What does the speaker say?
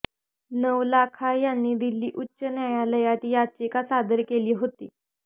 नवलाखा यांनी दिल्ली उच्च न्यायालयात याचिका सादर केली होती